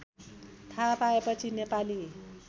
थाहा पाएपछि नेपाली